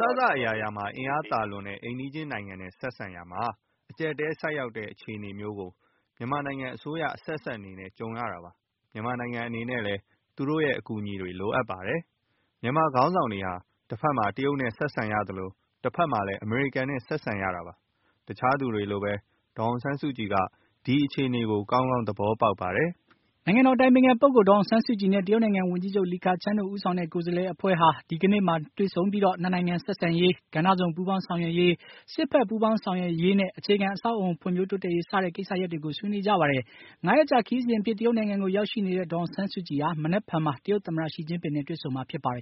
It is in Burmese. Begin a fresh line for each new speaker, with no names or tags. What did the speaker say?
စအရာရာမှာ အင်အားသာလွန်တဲ့ အိမ်နီးချင်း နိုင်ငံနဲ့ ဆက်ဆံရာမှာ အကြပ်အတည်းဆိုက်ရောက်တဲ့ အခြေအနေမျိုးကို မြန်မာနိုင်ငံအစိုးရအဆက်ဆက်အနေနဲ့ ကြုံရတာပါ။ မြန်မာနိုင်ငံအနေနဲ့လည်း သူတို့အကူအညီတွေလိုအပ်ပါတယ်။ မြန်မာခေါင်းဆောင်တွေဟာ တဘက်မှာ တရုတ်နဲ့ ဆက်ဆံရသလို တဘက်မှာ အမေရိကန်နဲ့လည်း ဆက်ဆံရတာပါ။ တခြားသူတွေလိုပဲ ဒေါ်အောင်ဆန်းစုကြည်က ဒီအခြေအနေကို ကောင်းကောင်း သဘောပေါက်ပါတယ်။”
နိုင်ငံတော်၏ အတိုင်ပင်ခံပုဂ္ဂိုလ် ဒေါ်အောင်ဆန်းစုကြည်နဲ့ တရုတ်နိုင်ငံ ဝန်ကြီးချုပ် လီခချန်းတို့ဦးဆောင်တဲ့ ကိုယ်စားလှယ်အဖွဲ့ဟာ ဒီကနေ့ ဒေသစံတော်ချိန် ညနေ ၆ နာရီမှာ တွေ့ဆုံပြီး ၂ နိုင်ငံဆက်ဆံရေး၊ ဂဏ္ဍစုံပူးပေါင်းဆောင်ရွက်ရေး၊ စစ်ဖက် ပူးပေါင်းဆောင်ရွက်ရေးနဲ့ အခြေခံအဆောက်အဦဖွံ့ဖြိုးတိုးတက်ရေး စတဲ့ ကိစ္စရပ်တွေကို ဆွေးနွေးကြပါတယ်။ ၅ ရက်ကြာခရီးစဉ်အဖြစ် တရုတ်နိုင်ငံကိုရောက်ရှိနေတဲ့ ဒေါ်အောင်ဆန်းစုကြည်ဟာ မနက်ဖြန်မှာ တရုတ်သမ္မတ ရှီကျင်းပင်နဲ့ တွေ့ဆုံမှာ ဖြစ်ပါတယ်